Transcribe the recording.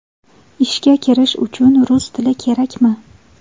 Ishga kirish uchun rus tili kerakmi?